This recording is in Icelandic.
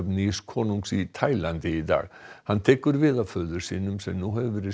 nýs konungs í Tælandi í dag hann tekur við af föður sínum sem nú hefur verið